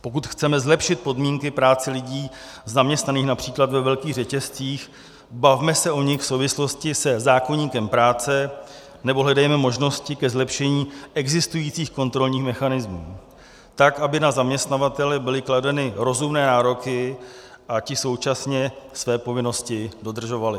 Pokud chceme zlepšit podmínky práce lidí zaměstnaných například ve velkých řetězcích, bavme se o nich v souvislosti se zákoníkem práce nebo hledejme možnosti ke zlepšení existujících kontrolních mechanismů tak, aby na zaměstnavatele byly kladeny rozumné nároky a ti současně své povinnosti dodržovali.